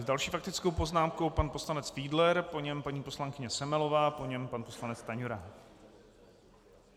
S další faktickou poznámkou pan poslanec Fiedler, po něm paní poslankyně Semelová, po ní pan poslanec Stanjura.